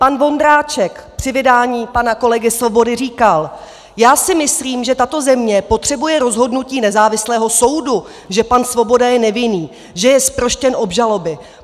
Pan Vondráček při vydání pana kolegy Svobody říkal: "Já si myslím, že tato země potřebuje rozhodnutí nezávislého soudu, že pan Svoboda je nevinný, že je zproštěn obžaloby.